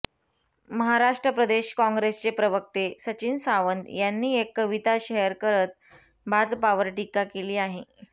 महाराष्ट्र प्रदेश काँग्रेसचे प्रवक्ते सचिन सावंत यांनी एक कविता शेअर करत भाजपावर टीका केली आहे